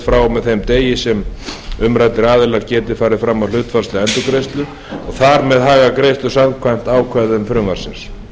frá og með þeim degi og að umræddir aðilar geti farið fram á hlutfallslega endurgreiðslu og þar með hagað greiðslu samkvæmt ákvæðum frumvarpsins